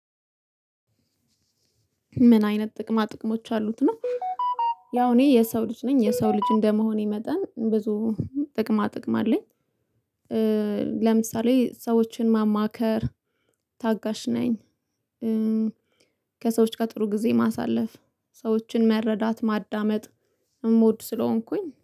ምን አይነት ጥቅማ ጥቅሞች አሉት ነው? ያው እኔ የሰው ልጅ ነኝ የሰው ልጅ እንደመሆኔ መጠን ብዙ ጥቅማ ጥቅም አለኝ። ለምሳሌ ሰዎችን ማማከር ታጋሽ ነኝ። ከሰዎች ጋር ጥሩ ጊዜ ማሳለፍ ሰዎችን መረዳት ማዳመጥ እምወድ ስለሆንኩኝ